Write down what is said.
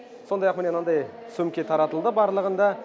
сондай ақ міне мынандай сөмке таратылды барлығында